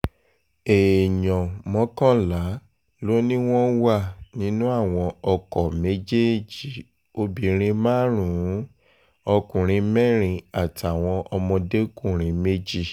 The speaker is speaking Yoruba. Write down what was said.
èèyàn mọ́kànlá ló ní wọ́n wà nínú àwọn ọkọ̀ méjèèjì obìnrin márùn-ún ọkùnrin mẹ́rin àtàwọn ọmọdékùnrin méjì